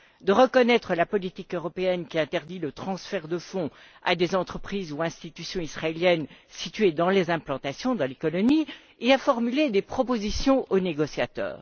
de reconnaître la politique européenne qui interdit le transfert de fonds à des entreprises ou institutions israéliennes situées dans les implantations, c'est à dire dans les colonies, et à formuler des propositions aux négociateurs.